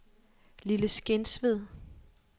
Lille Skensved